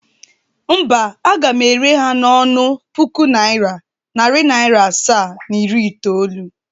Mba, aga m ere ha n' ọnụ puku naira, nari naira asaa, na iri itoolu.